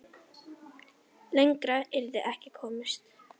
Lengra yrði ekki komist.